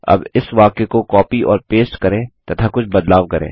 अब इस वाक्य को कॉपी और पेस्ट करें तथा कुछ बदलाव करें